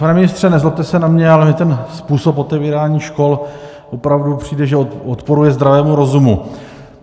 Pane ministře, nezlobte se na mě, ale mně ten způsob otevírání škol opravdu přijde, že odporuje zdravému rozumu.